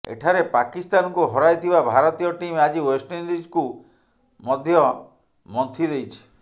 ଏଠାରେ ପାକିସ୍ତାନକୁ ହରାଇଥିବା ଭାରତୀୟ ଟିମ୍ ଆଜି ୱେଷ୍ଟଇଣ୍ଡିଜ୍କୁ ମଧ୍ୟ ମନ୍ଥି ଦେଇଛି